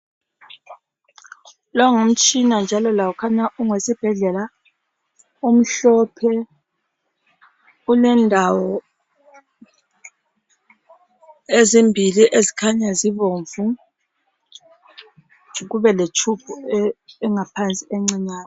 Lo ngumtshina njalo lawo khanya ungowesibhedlela. Umhlophe ulendawo ezimbili ezikhanya zibomvu. Kubeletshubhu engaphansi encinyane.